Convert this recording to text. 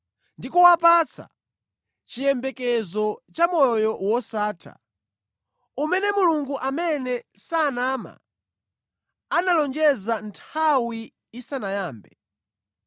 ndi kuwapatsa chiyembekezo cha moyo wosatha, umene Mulungu amene sanama, analonjeza nthawi isanayambe.